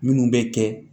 Minnu bɛ kɛ